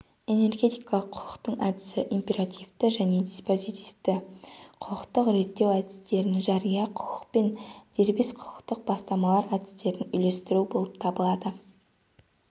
энергетикалық құқықтың әдісі императивті және диспозитивті құқықтық реттеу әдістерін жария құқық пен дербес құқықтық бастамалар әдістерін үйлестіру болып табылады